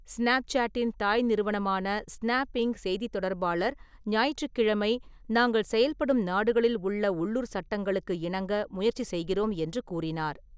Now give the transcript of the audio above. ஸ்னேப்சேட்டின் தாய் நிறுவனமான Snap, Inc., செய்தித் தொடர்பாளர் ஞாயிற்றுக்கிழமை, "நாங்கள் செயல்படும் நாடுகளில் உள்ள உள்ளூர் சட்டங்களுக்கு இணங்க முயற்சி செய்கிறோம்" என்று கூறினார்.